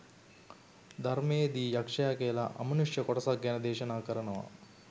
ධර්මයේ දී යක්ෂ කියලා අමනුෂ්‍ය කොටසක් ගැන දේශනා කරනවා.